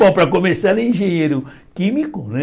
Bom, para começar, ele é engenheiro químico, né?